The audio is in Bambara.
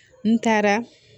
N taara